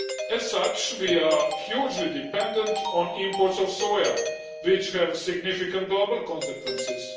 As such, we are hugely dependent on imports of soya, which have significant global consequences.